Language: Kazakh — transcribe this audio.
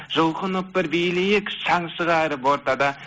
жұлқынып бір билейік шаң шығарып ортада